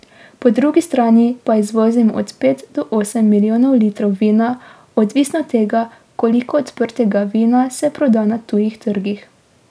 Po drugi strani pa izvozimo od pet do osem milijonov litrov vina, odvisno od tega, koliko odprtega vina se proda na tujih trgih.